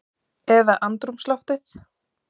Eða andrúmsloftið?